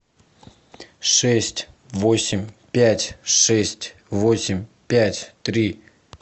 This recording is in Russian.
шесть восемь пять шесть восемь пять три